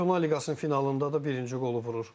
Çempionlar Liqasının finalında da birinci qolu vurur.